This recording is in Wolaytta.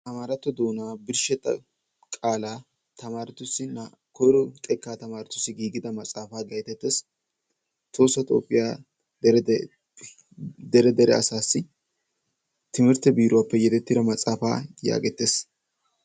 amaratto doona birshsheta qaalaa tamarettussi koyro xekka tamaretussi giigida maxaafa getettees, tohossa toophiya dere dere asassi timirtte biiruwappe yedettida matsaafa yagettees.